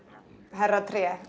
herra tré